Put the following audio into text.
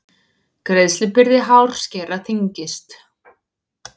Greiðslubyrði hárskera þyngist